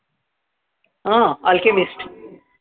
अं alchemist